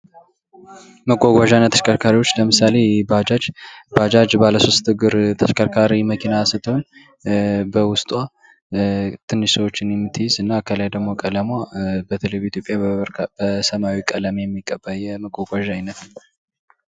መጓጓያ እና ተሽከርካሪዎች ለምሳሌ ፦ባጃጅ ፦ ባጃጅ ባለ ሶስት እግር ተሽከርካሪ መኪና ስትሆን በውስጧ ትንሽ ሰዎችን የምትይዝ እና ከላይ ደግሞ ቀለሟ በተለይ በኢትዮጵያ በሰማያዊ ቀለም የሚቀባ የመጓጓዣ አይነት ነው ።